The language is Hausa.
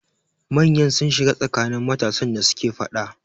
Manya sun shiga tsakanin matasan da suke faɗa.